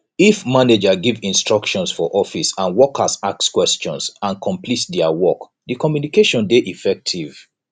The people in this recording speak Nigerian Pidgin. if manager give instructions for office and workers ask questions and complete their work di communication de effective